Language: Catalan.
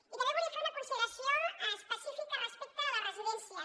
i també volia fer una consideració específica respecte a les residències